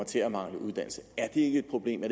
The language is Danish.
til at mangle uddannelse er det ikke et problem og